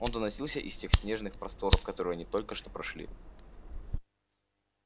он доносился из тех снежных просторов которые они только что прошли